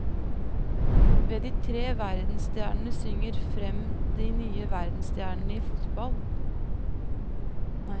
De tre verdensstjernene synger frem de nye verdensstjernene i fotball.